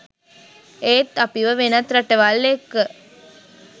ඒත් අපිව වෙනත් රටවල් එක්ක